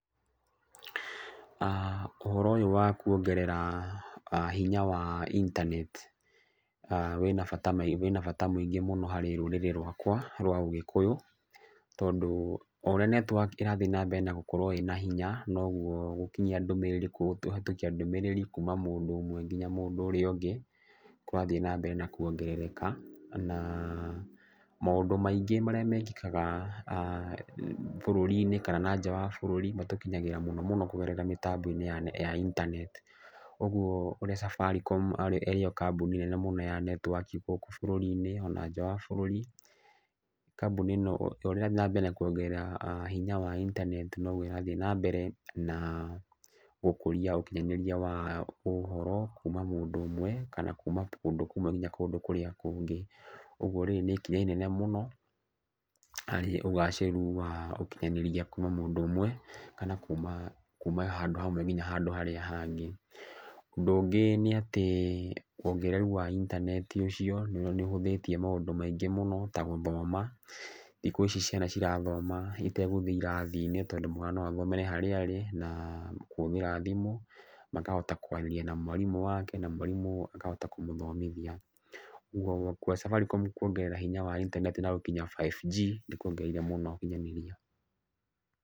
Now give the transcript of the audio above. Ũhoro ũyũ wa kuongerera hinya wa internet wĩna bata mũingĩ mũno harĩ rũrĩrĩ rwakwa rwa Ũgĩkũyũ, tondũ o ũrĩa network ĩrathiĩ nambere na gũkorwo ĩna hinya, noguo gũkinyia ndũmĩrĩri kũhĩtũkia ndũmĩrĩri kuma mũndũ ũmwe nginya mũndũ ũrĩa ũngĩ kũrathiĩ na mbere na kuongerereka. Na, maũndũ maingĩ marĩa mekĩkaga bũrũri-inĩ kana na nja wa bũrũri matũkinyagĩra mũno mũno kũgerera mĩtambo ya internet. Ũguo ũrĩa Safaricom ĩrĩ yo kambũni nene mũno ya netiwaki gũkũ bũrũri-inĩ ona nja wa bũrũri, kambũni ĩno o ũrĩa ĩrathiĩ na mbere na kuongerera hinya wa internet noguo ĩrathiĩ na mbere na gũkũria ũkinyanĩria wa, ũhoro kuuma mũndũ ũmwe kana kuma kũndũ kũmwe nginya kũndũ kũrĩa kũngĩ. Ũguo rĩrĩ nĩ ikinya inene mũno, harĩ ũgacĩru wa ũkinyanĩria kuuma mũndũ ũmwe, kana kuuma handũ hamwe nginya handũ harĩa hangĩ. Ũndũ ũngĩ nĩ atĩ wongereru wa internet ũcio nĩ ũhũthĩtie maũndũ maingĩ mũno ta gũthoma. Thikũ ici ciana cirathoma itegũthiĩ irathi-inĩ tondũ mwana no athomere harĩa arĩ na, kũhũthĩra thimũ, makahota kwaria na mwarimũ wake na mwarimũ akahota kũmũthomithia. Ũguo Safaricom kuongerera hinya wa internet na gũkinya 5G nĩ kuongereire mũno ũkinyanĩria.